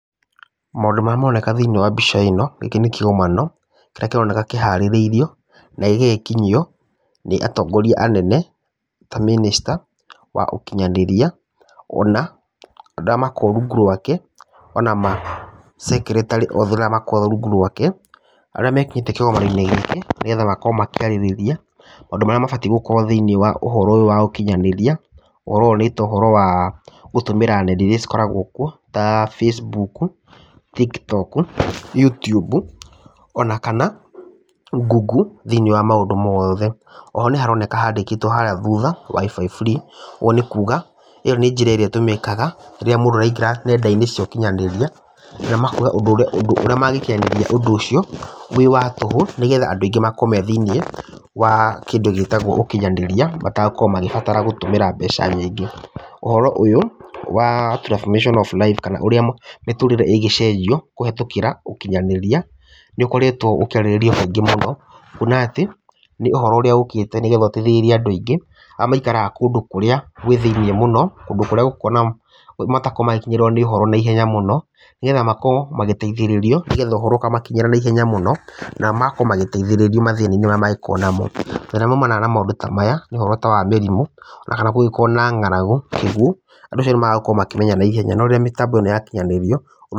Maũndũ marĩa maroneka thĩiniĩ wa mbica ĩno, gĩkĩ nĩ kĩgomano kĩrĩa kĩroneka kĩharĩrĩrio na gĩgagĩkinyio nĩ atongoria anene ta Minister wa ũkinyanĩria, ona andũ arĩa makoragwo rungu rwake ona ma secretary othe arĩa makoragwo rungu rwake, arĩa mekinyĩtie kĩgomano-inĩ gĩkĩ, nĩgetha makorwo makĩarĩrĩria maũndũ marĩa mabatiĩ gũkorwo thĩiniĩ wa ũhoro ũyũ wa ũkinyanĩria. Ũhoro ũyũ nĩ ta ũhorwo gũtũmĩra nenda iria cikoragwo kuo ta Facebook, TikTok, Youtube ona kana Google thĩiniĩ wa mũndũ mothe. Ho nĩ haroneka handĩkĩtwo harĩa thutha WIFI free, ũũ nĩ kuga ĩyo nĩyo njĩra ĩrĩa ĩtũmĩkaga rĩrĩa mũndũ araingĩra nenda-inĩ cia ũkinyaniria, na makauga ũndũ ũrĩa mangĩkiarĩrĩria ũndũ ũcio wĩ wa tũhũ, nĩgetha andũ aingĩ makorwo me thĩiniĩ wa kindũ gĩtagwo ũkinyaniria, matagũkorwo magĩbatara gũtũmĩra mbeca nyingĩ. Ũhoro ũyũ wa Transformation of Lives kana ũrĩa mĩtũrĩre ĩngĩcenjio kũhĩtũkĩra ũkinyanĩria, nĩ ũkoretwo ũkĩarĩrĩrio kaingĩ mũno, kuona atĩ nĩ ũhoro ũrĩa ũkĩte nĩ getha ũteithíĩĩrie andũ aingĩ, arĩa maikaraga kũndũ kũrĩa gwĩ thĩiniĩ mũno, kũndũ kũrĩa matakoragwo magikinyĩrwo nĩ ũhoro naihenya mũno, nĩgetha makorwo magĩteithĩrĩrio nĩgetha ũhoro ũkamakinyĩra na ihenya mũno, na magakorwo magĩteithĩrĩrio mathĩna-inĩ marĩa mangĩkorwo namo. Mathĩna marĩa maumanaga na maũndũ ta maya, nĩ ũhoro ta wa mĩrimũ, ona kana kũngĩrwo na ng'aragu andũ acio nĩ magũkorwo makĩmenya na ihenya, no rĩrĩa mĩtambo ĩno yakinyanĩrio...